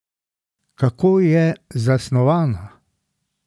Kako je zasnovana?